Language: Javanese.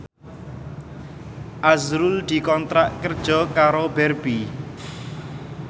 azrul dikontrak kerja karo Barbie